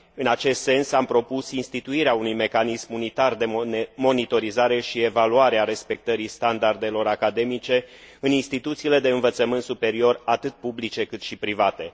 În acest sens, am propus instituirea unui mecanism unitar de monitorizare și evaluare a respectării standardelor academice în instituțiile de învățământ superior, atât publice, cât și private.